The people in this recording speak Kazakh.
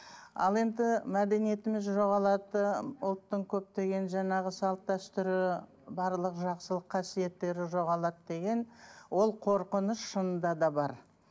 ал енді мәдениетіміз жоғалады ұлттың көптеген жаңағы салт дәстүрі барлық жақсылық қасиеттері жоғалады деген ол қорқыныш шынында да бар